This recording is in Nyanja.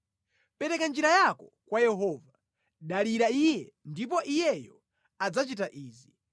Pereka njira yako kwa Yehova; dalira Iye ndipo Iyeyo adzachita izi: